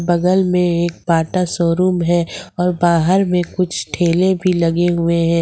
बगल में एक बाटा शोरूम है और बाहर में कुछ ठेले भी लगे हुए हैं।